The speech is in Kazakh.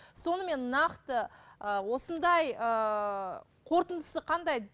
сонымен нақты ы осындай ыыы қорытындысы қандай